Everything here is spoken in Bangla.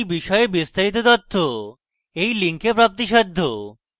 এই বিষয়ে বিস্তারিত তথ্য এই link প্রাপ্তিসাধ্য